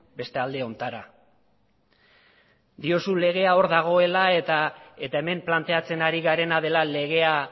beste alde hontara diozu legea hor dagoela eta hemen planteatzen ari garena dela legea